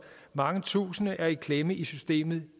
mange tusinde i klemme i systemet